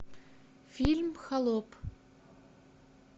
фильм холоп